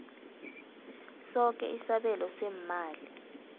soke isabelo seemali